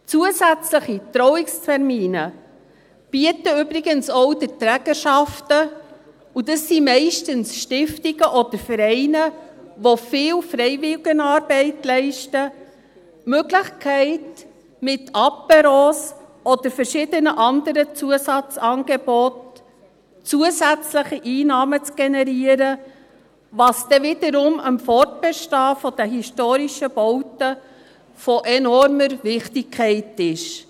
Zusätzliche Trauungstermine bieten übrigens auch den Trägerschaften, und das sind meist Stiftungen oder Vereine, die viel Freiwilligenarbeit leisten, die Möglichkeit, mit Apéros oder mit verschiedenen anderen Zusatzangeboten, zusätzliche Einnahmen zu generieren, was dann wiederum für das Fortbestehen der historischen Bauten von enormer Wichtigkeit ist.